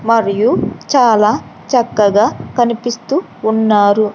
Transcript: మరియు చాలా చక్కగా కనిపిస్తూ ఉన్నారు.